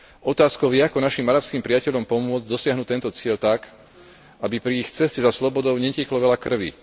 Otázkou je, ako našim arabským priateľom pomôcť dosiahnuť tento cieľ tak, aby pri ich ceste za slobodou netieklo veľa krvi.